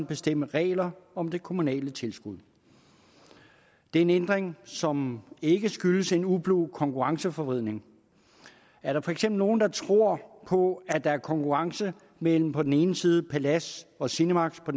bestemme regler om det kommunale tilskud det er en ændring som ikke skyldes en ublu konkurrenceforvridning er der for eksempel nogen der tror på at der er konkurrence mellem på den ene side palads og cinemaxx og